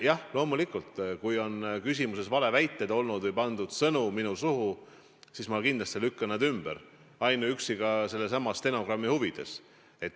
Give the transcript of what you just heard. Jah, loomulikult, kui küsimuses on olnud valeväiteid või pandud sõnu minu suhu, siis ma kindlasti lükkan nad ümber, ainuüksi sellesama stenogrammi huvides.